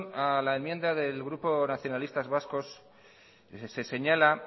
a la enmienda del grupo nacionalista vasco se señala